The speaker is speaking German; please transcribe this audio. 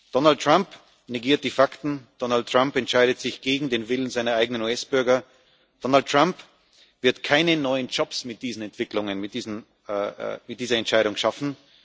Donald Trump negiert die Fakten, Donald Trump entscheidet sich gegen den Willen seiner eigenen US Bürger, Donald Trump wird keine neuen Jobs mit diesen Entwicklungen, mit dieser Entscheidung schaffen.